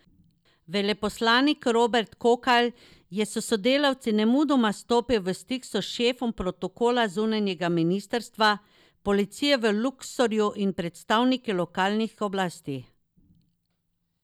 Veleposlanik Robert Kokalj je s sodelavci nemudoma stopil v stik s šefom protokola zunanjega ministrstva, policijo v Luksorju in predstavniki lokalnih oblasti.